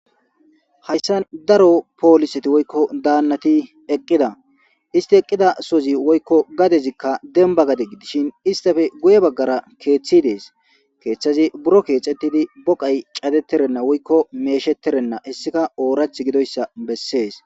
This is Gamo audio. Hayisani daro poliseti eqida isiti eqidasozika woyikko gadezikka demibba gade gudishini issitappe guye bagara keeththi deesi keththazi buro keththetidi boka cadeterena woyikko meshsheterena hayisikka oraththi gidoyisa beesesi